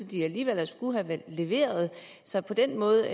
de alligevel skulle have leveret så på den måde